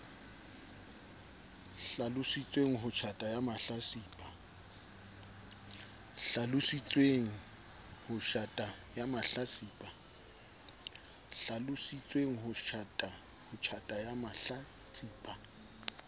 hlalositsweng ho tjhata ya mahlatsipa